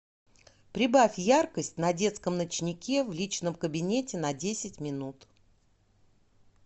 прибавь яркость на детском ночнике в личном кабинете на десять минут